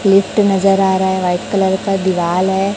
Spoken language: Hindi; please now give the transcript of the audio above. गेट नजर आ रहा है व्हाइट कलर का दिवाल है।